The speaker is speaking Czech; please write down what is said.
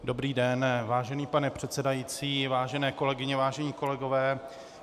Dobrý den, vážený pane předsedající, vážené kolegyně, vážení kolegové.